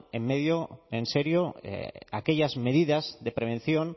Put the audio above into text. en serio aquellas medidas de prevención